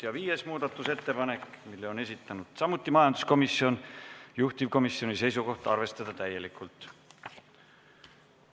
Ja viies muudatusettepanek, mille on esitanud samuti majanduskomisjon, juhtivkomisjoni seisukoht: arvestada täielikult.